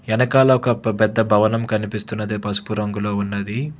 ఎనకాల ఒక పెద్ద భవనం కనిపిస్తున్నది పసుపు రంగులో ఉన్నది.